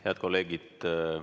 Head kolleegid!